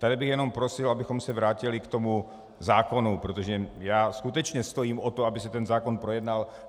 Tady bych jenom prosil, abychom se vrátili k tomu zákonu, protože já skutečně stojím o to, aby se ten zákon projednal.